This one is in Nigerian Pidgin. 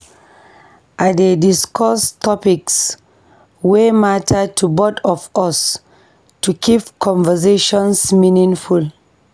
I dey discuss topics wey matter to both of us to keep conversations meaningful.